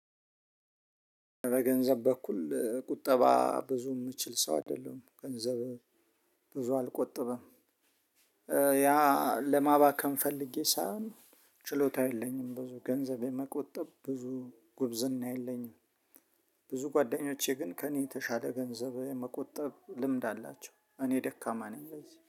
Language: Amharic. በገንዘብ በኩል ቁጠባ ብዙ የምችል ሰው አይደለም ገንዘብ ብዙ አልቆጠብም። ያ ለማባከን ፈልጌ ሳይሆን ችሎታ የለኝም ብዙ ገንዘብ የመቆጠብ ብዙ ጉብዝና የለኝም። ብዙ ጓደኞቼ ግን ከእኔ የተሻለ ገንዘብ መቆጠብ ልምድ አላቸው። እኔ ደካማ ነኝ